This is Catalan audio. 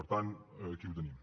per tant aquí ho tenim